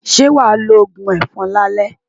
Ṣé wàá lo òògùn ẹ̀fọn lálẹ́?